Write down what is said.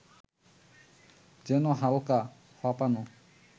যেন হালকা, ফাঁপানো